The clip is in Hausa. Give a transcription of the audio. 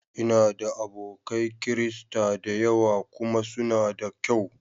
Ina da abokai Kirista da yawa kuma suna da ƙyau